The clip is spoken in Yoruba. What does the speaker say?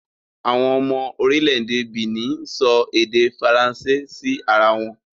Àwọn ọmọ orílẹ̀ èdè Benin ń sọ èdè Faransé sí ara wọn